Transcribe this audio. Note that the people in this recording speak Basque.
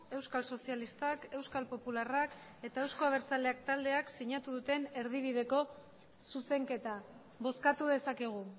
euskal sozialistak euskal popularrak eta euzko abertzaleak taldeak sinatu duten erdibideko zuzenketa bozkatu dezakegu